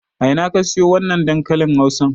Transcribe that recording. A ina ka siyo wannan dankalin Hausan?